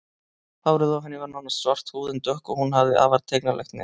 Hárið á henni var nánast svart, húðin dökk og hún hafði afar tignarlegt nef.